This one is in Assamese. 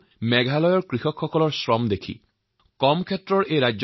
তদুপৰি মেঘালয়ৰ কৃষকসকলৰ পৰিশ্ৰমৰ কাহিনীয়ে মোক আটাইতকৈ বেছি প্ৰভাৱিত কৰিছিল